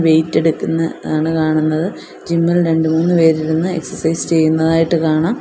Wait എടുക്കുന്നത് ആണ് കാണുന്നത് ജിമ്മിൽ രണ്ടു മൂന്ന് പേര് ഇരുന്ന് എക്സസൈസ് ചെയ്യുന്നതായിട്ട് കാണാം.